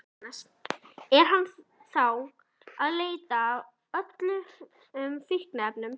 Jóhannes: Er hann þá að leita að öllum fíkniefnum?